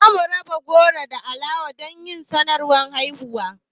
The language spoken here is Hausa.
Za mu raba goro da alawa don yin sanarwar haihuwan